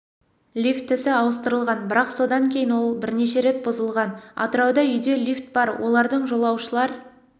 лифтісі ауыстырылған бірақ содан кейін ол бірнеше рет бұзылған атырауда үйде лифт бар олардың жолаушылар